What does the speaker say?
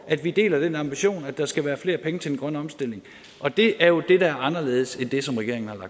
at vi deler den ambition at der skal være flere penge til den grønne omstilling og det er jo det der er anderledes end det som regeringen